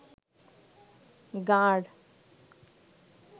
গাঁড়